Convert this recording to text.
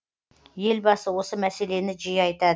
елбасы осы мәселені жиі айтады